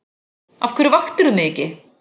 Af hverju vaktirðu mig ekki?